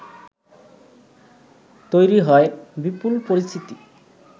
তৈরি হয় বিপুল পরিচিতি